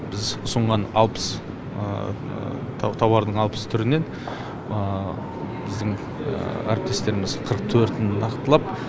біз ұсынған алпыс тауардың алпыс түрінен біздің әріптестеріміз қырық төртін нақтылап